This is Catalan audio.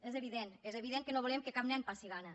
és evident és evident que no volem que cap nen passi gana